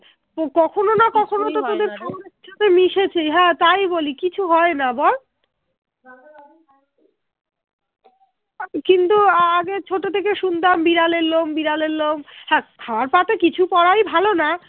কিন্তু আগে ছোট থেকে শুনতাম বিরলের লোম বিড়ালের লোম হা খাবার পাতে কিছু পোড়াই ভালো না